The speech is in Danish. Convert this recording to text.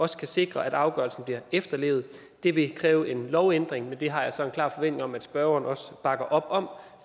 skal sikre at afgørelsen bliver efterlevet det vil kræve en lovændring men det har jeg så en klar forventning om at spørgeren også bakker op om